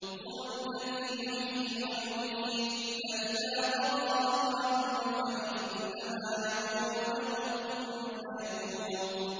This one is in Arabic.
هُوَ الَّذِي يُحْيِي وَيُمِيتُ ۖ فَإِذَا قَضَىٰ أَمْرًا فَإِنَّمَا يَقُولُ لَهُ كُن فَيَكُونُ